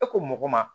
E ko mɔgɔ ma